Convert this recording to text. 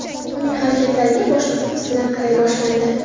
Uning harakatlariga boshqa ko‘z bilan qaray boshlandi.